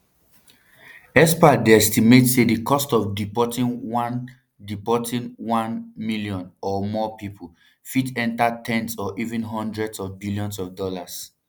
experts dey estimate say di cost of deporting one deporting one million or more pipo fit enta ten s or even hundreds of billions of dollars